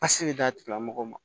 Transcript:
Pase bɛ d'a tigilamɔgɔw ma